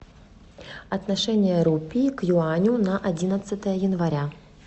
отношение рупии к юаню на одиннадцатое января